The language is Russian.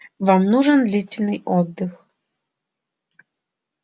вам нужен длительный отдых